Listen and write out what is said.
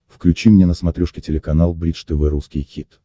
включи мне на смотрешке телеканал бридж тв русский хит